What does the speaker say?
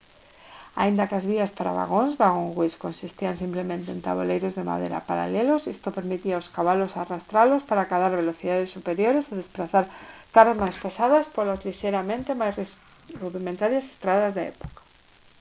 aínda que as vías para vagóns «waggonways» consistían simplemente en taboleiros de madeira paralelos isto permitía aos cabalos arrastralos para acadar velocidades superiores e desprazar cargas máis pesadas polas lixeiramente máis rudimentarias estradas da época